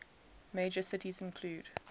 major cities include